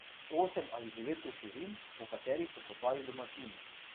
Osem ali devet ruševin, po katerih so kopali domačini.